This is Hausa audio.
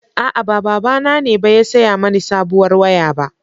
A'a, ba babana ne ba ya saya mani sabuwar waya ba.